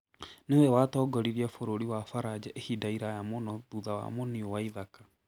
Nĩwe watongoririe bũrũri wa Faranja ihinda iraya mũno thutha wa Muniu waithaka.